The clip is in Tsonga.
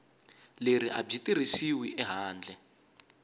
leri a byi tirhisiwi handle